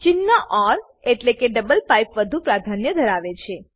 ચિન્હ ઓર એટલેકે double pipe વધુ પ્રાધાન્ય ધરાવે છે